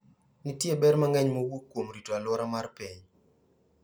Nitie ber mang'eny mawuok kuom rito alwora mar piny.